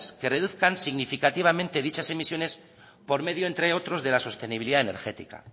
que reduzcan significativamente dichas emisiones por medio entre otros de la sostenibilidad energética